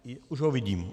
Už ho vidím.